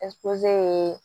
ye